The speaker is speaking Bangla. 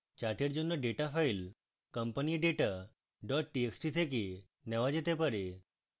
chart জন্য ডেটা file companyadata txt থেকে নেওয়া যেতে পারে